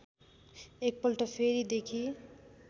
एकपल्ट फेरि देखि